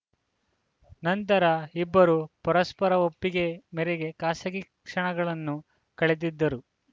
ನಂತರ ಇಬ್ಬರು ಪರಸ್ಪರ ಒಪ್ಪಿಗೆ ಮೇರೆಗೆ ಖಾಸಗಿ ಕ್ಷಣಗಳನ್ನು ಕಳೆದಿದ್ದರು